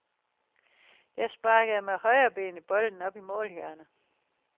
Jeg sparkede med højrebenet bolden op i målhjørnet.